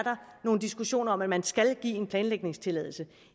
nogle diskussioner om at man skal give en planlægningstilladelse